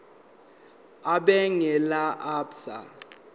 ebhange lase absa